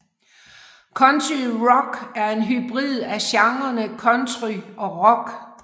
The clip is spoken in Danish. Country rock er en hybrid af genrene country og rock